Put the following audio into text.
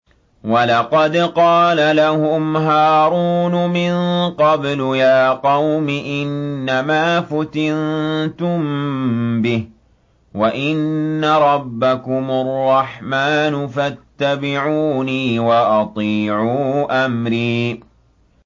وَلَقَدْ قَالَ لَهُمْ هَارُونُ مِن قَبْلُ يَا قَوْمِ إِنَّمَا فُتِنتُم بِهِ ۖ وَإِنَّ رَبَّكُمُ الرَّحْمَٰنُ فَاتَّبِعُونِي وَأَطِيعُوا أَمْرِي